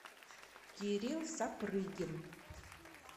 кирилл сапрыгин